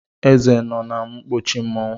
Eze nọ na nkpuchi Mmanwu.